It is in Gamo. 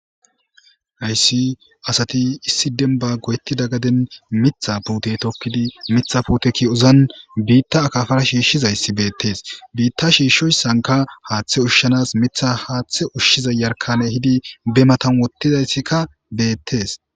Hayssi asati issi denba goyetti da gaden mitha puute tokkidi mitha puteki ozan biitta akafara shiishshizayssi beettees biitta shiishshoyssanka haaththe ushshanas mitha haaththe ushshiza yarkane hidi be matam wotizayssikka beettees